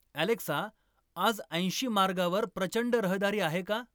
Alexa आज ऐंशी मार्गावर प्रचंड रहदारी आहे का